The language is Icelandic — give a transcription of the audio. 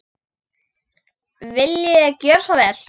Viljiði gjöra svo vel.